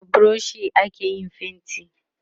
da brush ake yin fainti